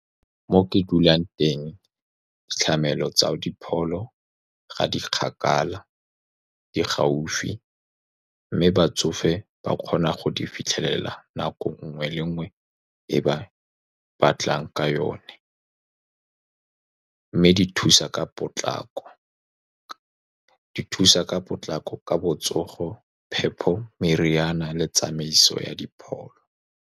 Mo ke dulang teng, ditlamelo tsa dipholo ga di kgakala, di gaufi, mme batsofe ba kgona go di fitlhelela nako e nngwe le e nngwe e ba e batlang ka yone. Mme di thusa ka potlako, di thusa ka potlako ka botsogo, phepho, meriana le tsamaiso ya dipholo.